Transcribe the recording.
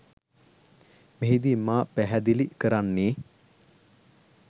මෙහිදී මා පැහැදිලි කරන්නේ